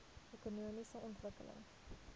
ekonomiese ontwikkeling